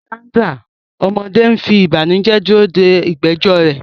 Sandra, ọmọdé, ń fi ìbànújẹ́ dúró de ìgbẹ́jọ́ rẹ̀.